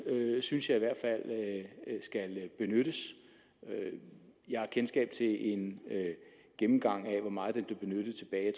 synes jeg i hvert fald skal benyttes jeg har kendskab til en gennemgang af hvor meget den blev benyttet tilbage i